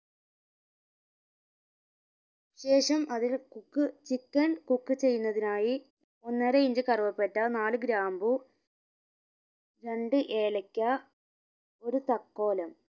ശേഷം അതില് cook chicken cook ചെയ്യുന്നതിനായി ഒന്നര ഇഞ്ച് കറുവപ്പട്ട നാല് ഗ്രാമ്പു രണ്ട് ഏലക്ക ഒരു തക്കോലം